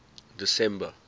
december